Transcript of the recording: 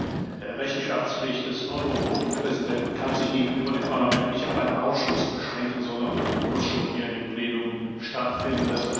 Die Rechenschaftspflicht des Eurogruppenpräsidenten kann sich gegenüber dem Parlament nicht auf einen Ausschuss beschränken, sondern muss schon hier im Plenum stattfinden.